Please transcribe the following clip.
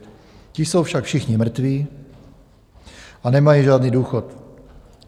Ti jsou však všichni mrtví a nemají žádný důchod.